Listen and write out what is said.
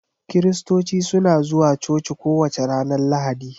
Kiristoci suna zuwa coci kowace ranar Lahadi.